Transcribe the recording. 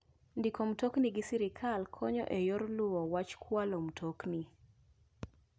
Ndiko mtokni gi sirkal konyo e yor luwo wach kualo mtokni.